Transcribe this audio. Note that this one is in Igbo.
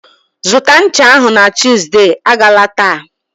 Zụta ncha ahụ na Tuesday! Agala taa.